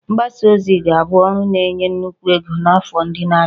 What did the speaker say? Mgbasa ozi ga-abụ ọrụ na-enye nnukwu ego n'afọ ndị na-abịa